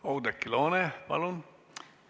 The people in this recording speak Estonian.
Oudekki Loone, palun!